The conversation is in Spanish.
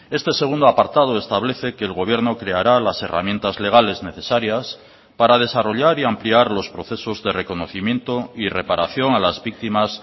este segundo apartado establece que el gobierno creará las herramientas legales necesarias para desarrollar y ampliar los procesos de reconocimiento y reparación a las víctimas